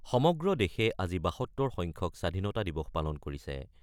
সমগ্ৰ দেশে আজি ৭২ সংখ্যক স্বাধীনতা দিৱস পালন কৰিছে।